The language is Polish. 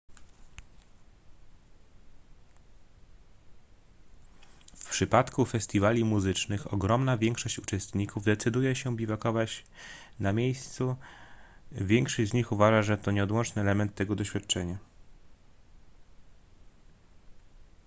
w przypadku festiwali muzycznych ogromna większość uczestników decyduje się biwakować na miejscu większość z nich uważa że to nieodłączny element tego doświadczenia